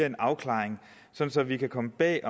en afklaring så vi kan komme bag